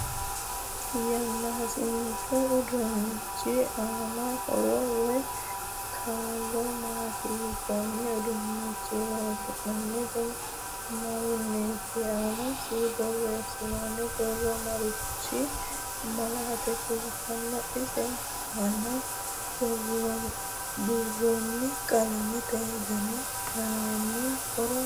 Yanaasichu uduunichi aano horo woy kaa'lo maati konne uduunicho loonsoonihu mayiiniiti aanasi boreesinooni borro marichi malaate kultanno isi aana burooni qalamete dani aano horo maati